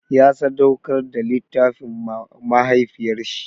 Ya sadauƙar da littafin ma mahaifiyar shi.